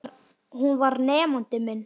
Hún var nemandi minn.